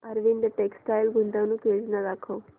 Arvind textile गुंतवणूक योजना दाखव